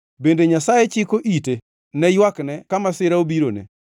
Bende Nyasaye chiko ite ne ywakne ka masira obirone?